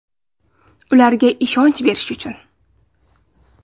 Ularga ishonch berish uchun!